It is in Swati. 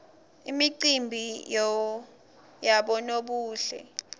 imicimbi yabonobuhle